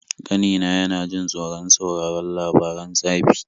Ƙanina yana jin tsoron sauraron labaran tsafi.